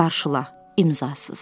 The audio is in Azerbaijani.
Qarşıla, imzasız.